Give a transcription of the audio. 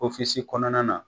kɔnɔna na